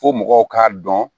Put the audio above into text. Fo mɔgɔw k'a dɔn